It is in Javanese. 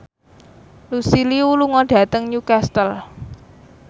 Lucy Liu lunga dhateng Newcastle